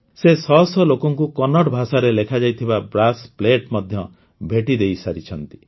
ସେ ଶହ ଶହ ଲୋକଙ୍କୁ କନ୍ନଡ଼ ଭାଷାରେ ଲେଖାଯାଇଥିବା ବ୍ରାସ୍ ପ୍ଲେଟ୍ ମଧ୍ୟ ଭେଟି ଦେଇସାରିଛନ୍ତି